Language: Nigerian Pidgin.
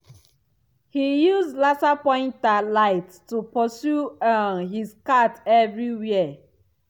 he use laser pointer light to pursue um his cat everywhere.